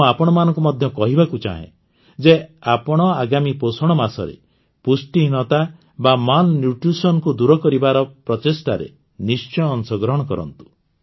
ମୁଁ ଆପଣମାନଙ୍କୁ ମଧ୍ୟ କହିବାକୁ ଚାହେଁ ଯେ ଆପଣ ଆଗାମୀ ପୋଷଣ ମାସରେ ପୁଷ୍ଟିହୀନତା ବା ମାଲନ୍ୟୁଟ୍ରିସନକୁ ଦୂର କରିବାର ପ୍ରଚେଷ୍ଟାରେ ନିଶ୍ଚୟ ଅଂଶଗ୍ରହଣ କରନ୍ତୁ